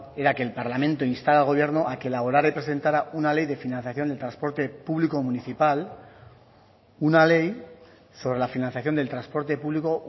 era que el parlamento instara al gobierno a que elaborara y presentara una ley de financiación del transporte público municipal una ley sobre la financiación del transporte público